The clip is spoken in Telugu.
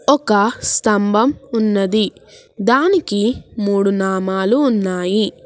ఒక స్తంభం ఉన్నది దానికి మూడు నామాలు ఉన్నాయి.